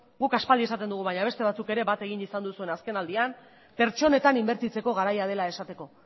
guk aspaldi esaten dugu baina beste batzuk ere bat egin izan duzuen azkenaldian pertsonetan inbertitzeko garaia dela esateko